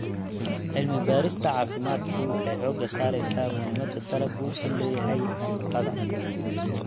Cilmi-baarista caafimaadku waxay xoogga saaraysaa muhiimadda dalaggu u leeyahay nafaqada.